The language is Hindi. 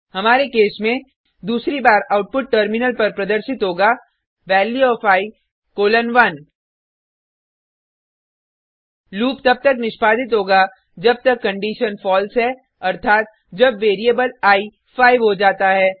हमारे केस में दूसरी बार आउटपुट टर्मिनल पर प्रदर्शित होगा value of i colon 1 loop तब तक निष्पादित होगा जब तक कंडिशन फलसे है अर्थात जब वेरिएबल आई 5 हो जाता है